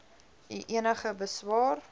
u enige beswaar